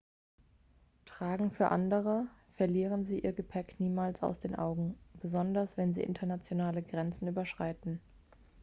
tragen für andere verlieren sie ihr gepäck niemals aus den augen besonders wenn sie internationale grenzen überschreiten